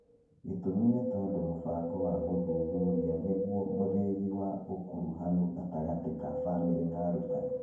Gĩtũmi nĩ tondũ mũbango wa gũthuthuria nĩ guo mũthingi wa ũkuruhanu gatagatĩ ka famĩlĩ na arutani.